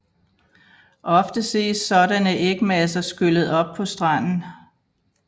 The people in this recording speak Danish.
Ofte ses sådanne ægmasser skyllet op på stranden